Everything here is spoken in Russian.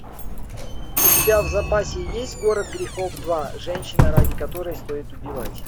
у тебя в запасе есть город грехов два женщина ради которой стоит убивать